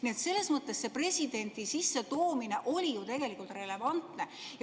Nii et selles mõttes see presidendi sissetoomine oli ju tegelikult relevantne.